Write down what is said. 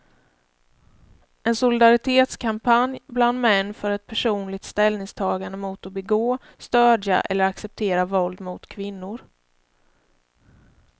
En solidaritetskampanj bland män för ett personligt ställningstagande mot att begå, stödja eller acceptera våld mot kvinnor.